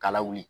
Kala wuli